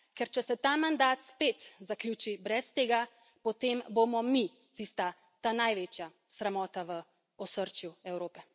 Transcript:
Ker če se ta mandat spet zaključi brez tega, potem bomo mi tista največja sramota v osrčju Evrope.